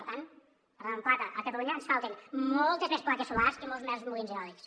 per tant parlant en plata a catalunya ens falten moltes més plaques solars i molts més molins eòlics